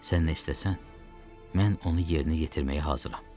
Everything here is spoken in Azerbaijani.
Sən nə istəsən, mən onu yerinə yetirməyə hazıram.